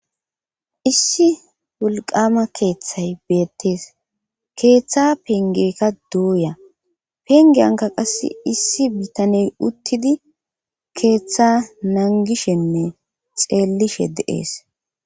issi wolqama keeththay beettees keeththa pengeykka dooya pengeyanka qasse issi bitaney uttidi keeththa nangishenne xeellishe de'ees